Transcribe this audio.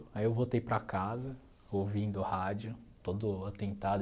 Aí eu voltei para casa, ouvindo rádio, todo atentado.